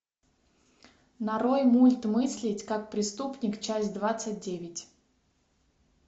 нарой мульт мыслить как преступник часть двадцать девять